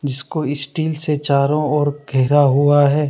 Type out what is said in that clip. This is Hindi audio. जिसको स्टील से चारो ओर घेरा हुआ है।